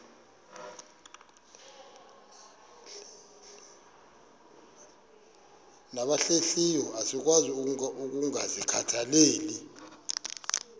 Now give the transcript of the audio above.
nabahlehliyo asikwazi ukungazikhathaieli